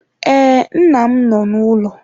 Ee, nna m nọ n'ụlọ.